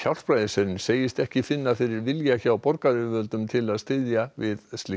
ekki finna fyrir vilja hjá borgaryfirvöldum til að styðja við slíkt verkefni